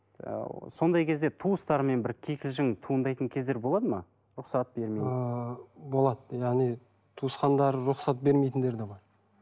ыыы сондай кезде туыстармен бір кикілжінң туындайтын кездер болады ма рұқсат бермей ііі болады яғни туысқандары рұқсат бермейтіндері де бар